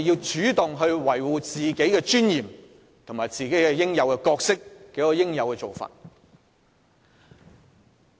主動維護議員的尊嚴和角色，才是恰當的做法。